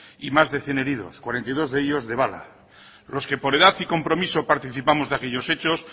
y más de cien heridos cuarenta y dos de ellos de bala los que por edad y compromiso participamos de aquellos hechos